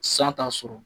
San t'a sɔrɔ